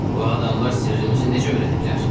Bu adamlar sirrimizi necə öyrəniblər?